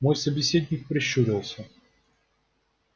мой собеседник прищурился